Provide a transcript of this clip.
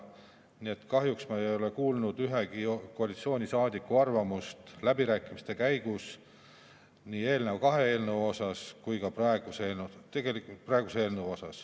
Nii et kahjuks ma ei ole kuulnud ühegi koalitsioonisaadiku arvamust läbirääkimiste käigus ei eelneva kahe eelnõu ega ka praeguse eelnõu kohta.